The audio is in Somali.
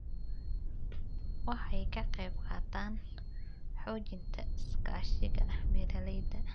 Waxay ka qayb qaataan xoojinta iskaashiga beeralayda.